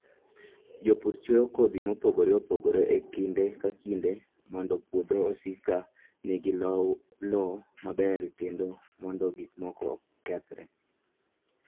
Jopur chwoyo kodhi mopogore opogore e kinde ka kinde mondo puodho osik ka nigi lowo maber kendo mondo gik moko okethre.